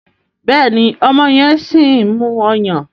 Béèni ọmọ yen sìn mú ọyàn.